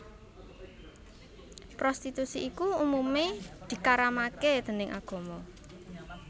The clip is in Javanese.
Prostitusi iku umumé dikaramaké déning agama